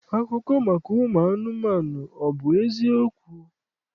Akụkọ maka ụmụ anụmanụ, ọ bụ eziokwu?